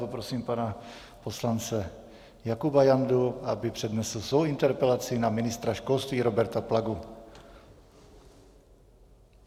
Poprosím pana poslance Jakuba Jandu, aby přednesl svou interpelaci na ministra školství Roberta Plagu.